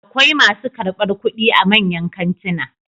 Akwai masu karɓar kuɗi a manyan kantuna